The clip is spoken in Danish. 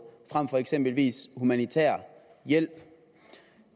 frem for eksempelvis humanitær hjælp